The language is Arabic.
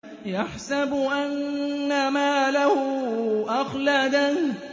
يَحْسَبُ أَنَّ مَالَهُ أَخْلَدَهُ